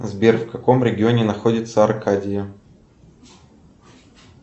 сбер в каком регионе находится аркадия